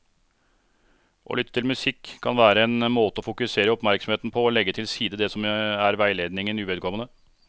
Å lytte til musikk kan være en måte å fokusere oppmerksomheten på og legge til side det som er veiledningen uvedkommende.